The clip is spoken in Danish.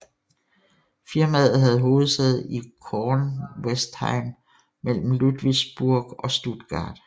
Firmaet havde hovedsæde i Kornwestheim mellem Ludwigsburg og Stuttgart